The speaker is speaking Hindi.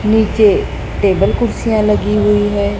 नीचे टेबल कुर्सियां लगी हुई है।